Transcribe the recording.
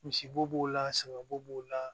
Misibo b'o la saga bo b'o la